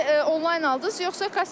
Bileti onlayn aldız, yoxsa kassa?